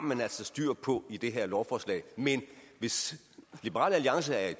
man altså styr på i det her lovforslag men hvis liberal alliance er i